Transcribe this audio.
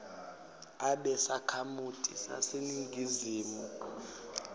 abe sakhamuti saseningizimu